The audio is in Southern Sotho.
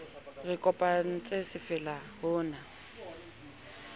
re kopantse se fella hona